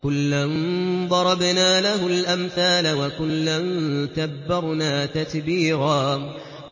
وَكُلًّا ضَرَبْنَا لَهُ الْأَمْثَالَ ۖ وَكُلًّا تَبَّرْنَا تَتْبِيرًا